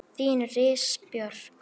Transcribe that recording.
Þín Íris Björk.